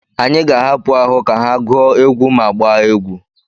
Anyị ga-ahapụ ahụ ka ha gụọ egwu ma gbaa egwu.